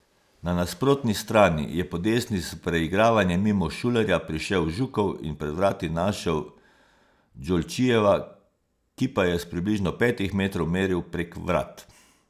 Na nasprotni strani je po desni s preigravanjem mimo Šulerja prišel Žukov in pred vrati našel Džolčijeva, ki pa je s približno petih metrih meril prek vrat.